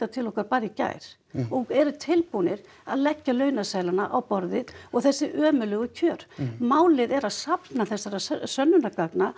til okkar bara í gær og eru tilbúnir að leggja launaseðlana á borðið og þessi ömurlegu kjör málið er að safna þessara sönnunargagna